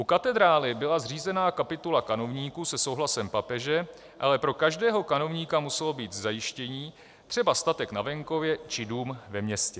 U katedrály byla zřízena kapitula kanovníků se souhlasem papeže, ale pro každého kanovníka muselo být zajištění, třeba statek na venkově či dům ve městě.